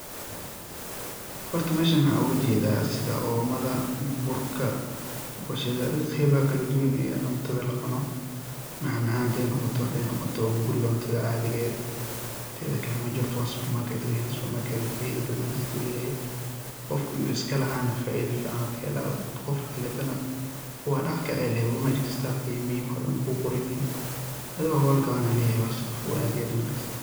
horta meshan waxaan oga jeeda sida omada, burka ,boshada adiga qeebaha kala duban ee cuntada lacuno, macmacaan haday noqoto, haday noqoto hunguriga cuntada caadiga eh, teda kale maja horta waa supermarket weyaan, supermarket na faida badan ayuu dadka uleyahay, qofki iskalaha na faida fican uu ka helaa, qofki kaleete na waa dhax kecee meji kista qeymihi waxo dhan way kugu qoran yihin adi waa hol gaban an leyahay waa shaqa fudud aad iyo aad uwanaagsan